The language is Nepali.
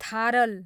थारल